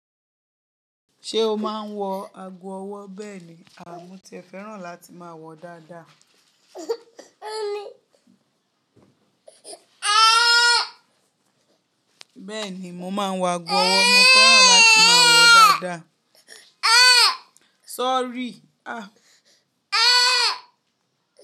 Ṣé o máa ń wọ ago ọwọ́ bẹ́ẹ̀ ni àmú tí ẹ fẹ́ràn láti máa wọ dáadáa. Bẹ́ẹ̀ ni, mo máa ń wọ ago ọwọ́ mo fẹ́ràn láti máa wọ ó dáadáa. Sorry. Ah!